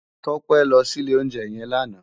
Tope lò si ilé óunjè yèn làná